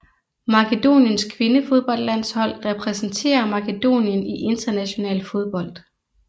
Makedoniens kvindefodboldlandshold repræsenterer Makedonien i international fodbold